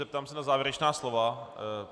Zeptám se na závěrečná slova.